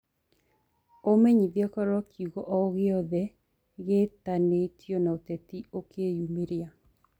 umenyĩthĩeũkorwo kĩongo o giothe giitainio na uteti ukiyumiria